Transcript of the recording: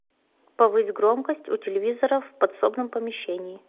повысь громкость у телевизора в подсобном помещении